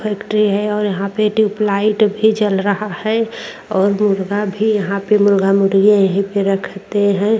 Factory है और यहां पे ट्यूबलाइट भी जल रहा है और मुर्गा भी यहां पे मुर्गा-मुर्गी यहीं पे रखते हैं।